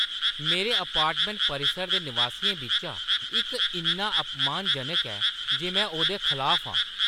मेरे अपार्टमैंट परिसर दे नवासियें बिच्चा इक इन्ना अपमानजनक ऐ जे में ओह्दे खलाफ आं।